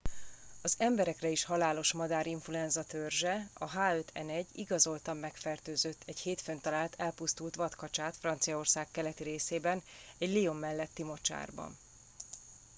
az emberekre is halálos madárinfluenza törzse a h5n1 igazoltan megfertőzött egy hétfőn talált elpusztult vadkacsát franciaország keleti részében egy lyon melletti mocsárban